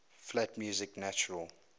flat music natural